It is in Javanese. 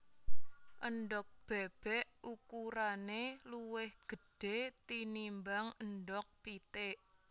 Endhog bébék ukurané luwih gedhé tinimbang endhog pitik